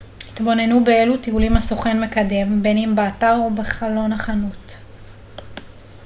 התבוננו באילו טיולים הסוכן מקדם בין אם באתר או בחלון החנות